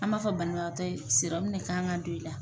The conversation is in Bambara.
An b'a fɔ banabagatɔ ye de k'an ka don i la.